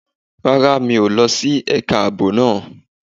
Rárá, mi ò lọ sí ẹ̀ka ààbò náà.